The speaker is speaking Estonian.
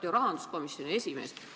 Te olete ju rahanduskomisjoni esimees?